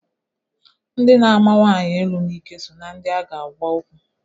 Ndị na-ama nwanyi elu n'ike so na ndị a ga agwa okwu.